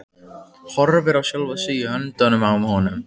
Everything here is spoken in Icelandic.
Horfir á sjálfa sig í höndunum á honum.